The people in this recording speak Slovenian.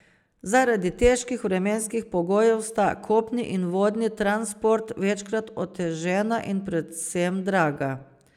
Zaradi težkih vremenskih pogojev sta kopni in vodni transport večkrat otežena in predvsem draga.